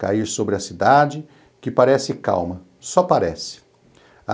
cair sobre a cidade, que parece calma, só parece.